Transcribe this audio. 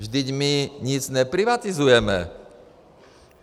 Vždyť my nic neprivatizujeme.